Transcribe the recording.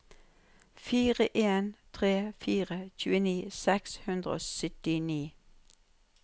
fire en tre fire tjueni seks hundre og syttini